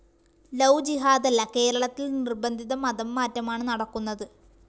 love ജിഹാദല്ല കേരളത്തില്‍ നിര്‍ബന്ധിത മതംമാറ്റമാണ് നടക്കുന്നത്